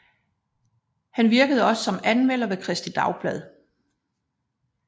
Han virkede også som anmelder ved Kristeligt Dagblad